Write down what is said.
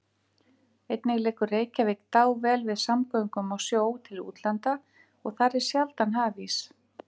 Einnig liggur Reykjavík dável við samgöngum á sjó til útlanda og þar er sjaldan hafís.